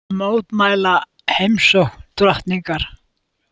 Mótmæla heimsókn drottningar